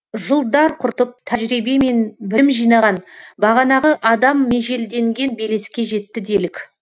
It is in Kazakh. жылдар құртып тәжірибе мен білім жинаған бағанағы адам межелденген белеске жетті делік